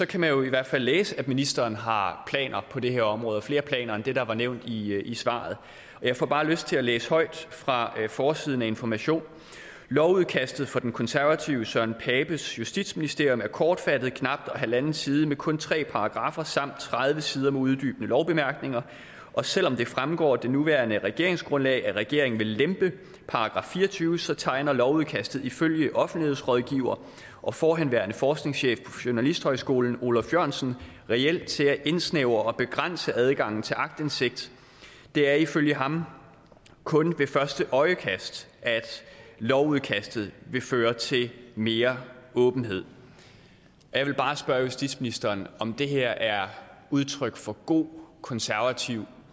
kan man jo i hvert fald læse at ministeren har planer på det her område og også flere planer end det der er nævnt i i svaret og jeg får bare lyst til at læse højt fra forsiden af information lovudkastet fra den konservative søren papes justitsministerium er kortfattet knap halvanden side med kun tre paragraffer samt knap tredive sider med uddybende lovbemærkninger og selv om det fremgår af det nuværende regeringsgrundlag at regeringen vil lempe paragraf fire og tyve så tegner lovudkastet ifølge offentlighedsrådgiver og forhenværende forskningschef på journalisthøjskolen oluf jørgensen reelt til at indsnævre og begrænse adgangen til aktindsigt det er ifølge ham kun ved første øjekast at lovudkastet vil føre til mere åbenhed jeg vil bare spørge justitsministeren om det her er udtryk for god konservativ